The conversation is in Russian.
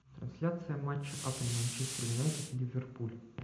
трансляция матча апл манчестер юнайтед и ливерпуль